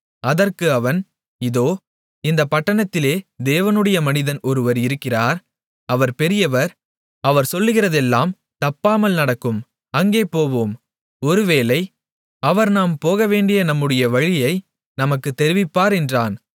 அதற்கு அவன் இதோ இந்தப் பட்டணத்திலே தேவனுடைய மனிதன் ஒருவர் இருக்கிறார் அவர் பெரியவர் அவர் சொல்லுகிறதெல்லாம் தப்பாமல் நடக்கும் அங்கே போவோம் ஒரு வேளை அவர் நாம் போகவேண்டிய நம்முடைய வழியை நமக்குத் தெரிவிப்பார் என்றான்